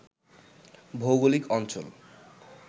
ভৌগলিক অঞ্চল